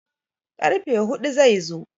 karfe hudu zai zo